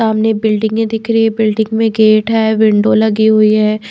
सामने बिल्डिंगें दिख रही है बिल्डिंग में गेट है विंडो लगी हुई है।